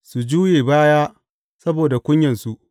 Su juye baya saboda kunyansu.